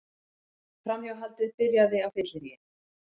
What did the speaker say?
Framhjáhaldið byrjaði á fylleríi